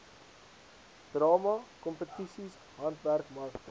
drama kompetisies handwerkmarkte